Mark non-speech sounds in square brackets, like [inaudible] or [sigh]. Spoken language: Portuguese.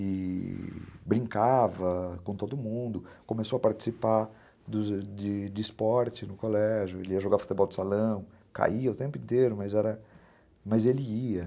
E... brincava com todo mundo, começou a participar [unintelligible] de esporte no colégio, ele ia jogar futebol de salão, caía o tempo inteiro, mas ele ia.